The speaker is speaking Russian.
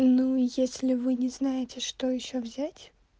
ну если вы не знаете что ещё взять